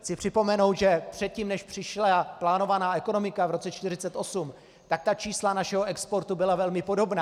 Chci připomenout, že předtím, než přišla plánovaná ekonomika v roce 1948, tak ta čísla našeho exportu byla velmi podobná.